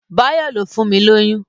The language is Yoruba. Báyọ̀ ló fun lóyún